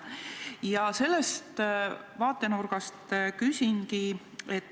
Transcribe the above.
Ja sellest vaatenurgast küsingi.